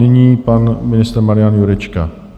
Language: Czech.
Nyní pan ministr Marian Jurečka.